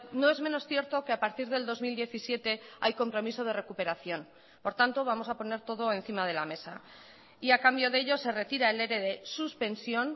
no es menos cierto que a partir del dos mil diecisiete hay compromiso de recuperación por tanto vamos a poner todo encima de la mesa y a cambio de ello se retira el ere de suspensión